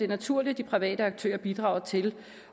naturligt at de private aktører bidrager til